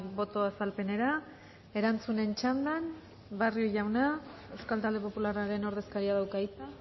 boto azalpenera erantzunen txandan barrio jauna euskal talde popularraren ordezkaria dauka hitza